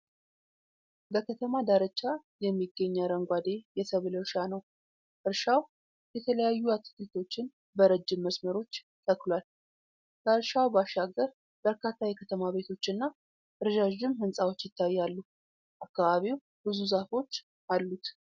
በከተማ ዳርቻ የሚገኝ አረንጓዴ የሰብል እርሻ ነው። እርሻው የተለያዩ አትክልቶችን በረጅም መስመሮች ተክሏል። ከእርሻው ባሻገር በርካታ የከተማ ቤቶችና ረዣዥም ሕንፃዎች ይታያሉ። አካባቢው ብዙ ዛፎች አሉት።